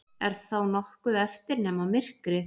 Er þá nokkuð eftir nema myrkrið?